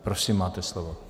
Prosím, máte slovo.